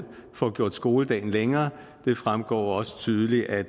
får gjort skoledagen længere det fremgår også tydeligt af